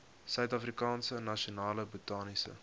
suidafrikaanse nasionale botaniese